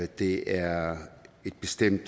det er et bestemt